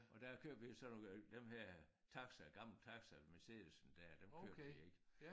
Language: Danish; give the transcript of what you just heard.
Og der købte vi jo sådan nogle øh dem her taxaer gamle taxaer Mercedes der dem købte vi ik